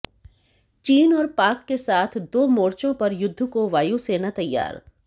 चीन और पाक के साथ दो मोर्चों पर युद्ध को वायुसेना तैयार